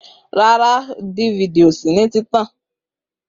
Rara, ẹrọ orin DVD ko si lori